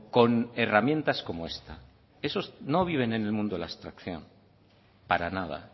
con herramientas como esta esos no viven en el mundo de la abstracción para nada